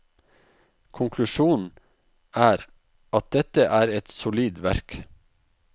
Konklusjonen er at dette er et solid verk.